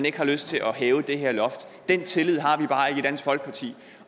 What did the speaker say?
ikke har lyst til at hæve det her loft den tillid har vi bare ikke i dansk folkeparti